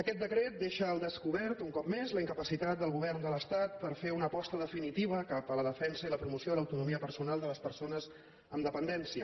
aquest decret deixa al descobert un cop més la incapacitat del govern de l’estat per fer una aposta definitiva cap a la defensa i la promoció de l’autonomia personal de les persones amb dependència